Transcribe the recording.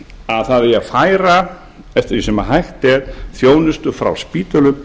að færa eigi eftir því sem hægt er þjónustu frá spítölum